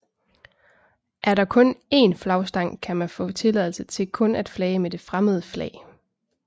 Er der kun én flagstang kan man få tilladelse til kun at flage med det fremmede flag